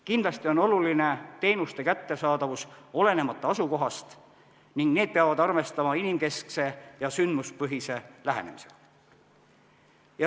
Kindlasti on oluline teenuste kättesaadavus olenemata asukohast ning need peavad arvestama inimkeskse ja sündmuspõhise lähenemisega.